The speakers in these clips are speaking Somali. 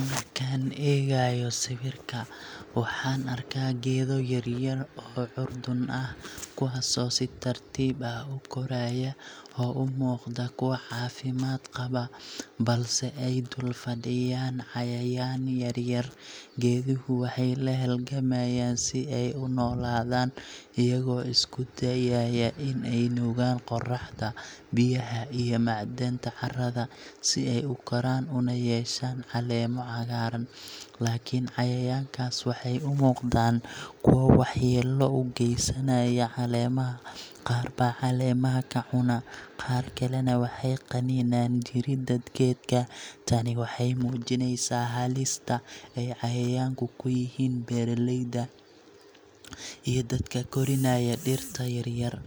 Markaan eegayo sawirka, waxaan arkaa geedo yaryar oo curdan ah, kuwaasoo si tartiib ah u koraya oo u muuqda kuwo caafimaad qaba, balse ay dul fadhiyaan cayayaan yar-yar. Geeduhu waxay la halgamayaan si ay u noolaadaan, iyagoo isku dayaya in ay nuugaan qorraxda, biyaha iyo macdanta carrada, si ay u koraan una yeeshaan caleemo cagaaran. Laakiin cayayaankaas waxay u muuqdaan kuwo waxyeello u geysanaya caleemaha, qaar baa caleemaha ka cuna, qaar kalena waxay qaniinaan jirida geedka. Tani waxay muujinaysaa halista ay cayayaanku ku yihiin beeralayda iyo dadka korinaya dhirta yaryar.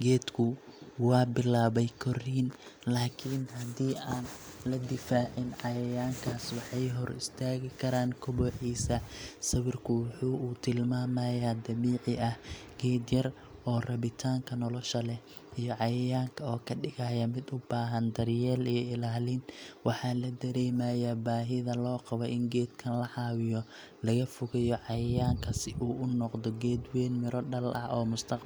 Geedku waa bilaabay korriin, laakiin haddii aan la difaacin, cayayaankaas waxay hor istaagi karaan kobociisa. Sawirka waxa uu tilmaamayaa halgan dabiici ah geed yar oo rabitaanka nolosha leh, iyo cayayaanka oo ka dhigaya mid u baahan daryeel iyo ilaalin. Waxaa la dareemayaa baahida loo qabo in geedkan la caawiyo, laga fogeeyo cayayaanka, si uu u noqdo geed weyn, midho dhal ah, oo mustaqbal ifaya leh.